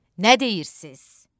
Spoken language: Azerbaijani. Nə deyirsiz?